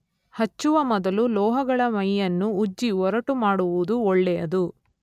ಹಚ್ಚುವ ಮೊದಲು ಲೋಹಗಳ ಮೈಯನ್ನು ಉಜ್ಜಿ ಒರಟು ಮಾಡುವುದು ಒಳ್ಳೆಯದು.